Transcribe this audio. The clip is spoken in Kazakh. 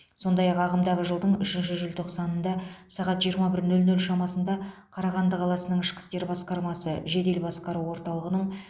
сондай ақ ағымдағы жылдың үшінші желтоқсанында сағат жиырма бір нөл нөл шамасында қарағанды қаласының ішкі істер басқармасы жедел басқару орталығының